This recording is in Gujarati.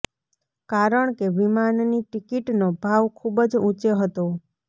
કારણ કે વિમાનની ટિકિટનો ભાવ ખુબ જ ઊંચે હતો